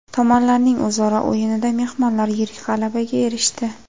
Tomonlarning o‘zaro o‘yinida mehmonlar yirik g‘alabaga erishdi.